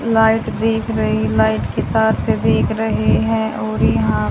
light दिख रही light के तार से देख रहे हैं और यहां--